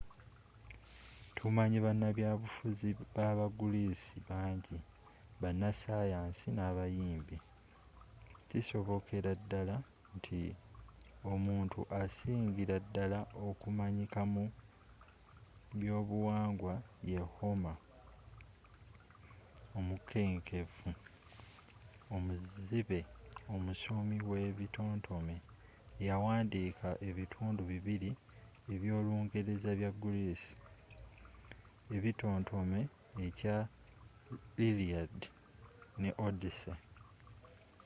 tumanyi banabyabufuzi ba ba greece bangi bana sayansi n'abayimbi kisobokeraddala nti omuntu asingira ddala okumanyika mu by'obuwangwa ye homer omukenkufu omuzibe omusomi we bitontome eyawandiika ebitundu bibiri eby'olungereza bya greece ebitotome ekya iliad ne odyssey